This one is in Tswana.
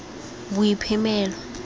boiphemelo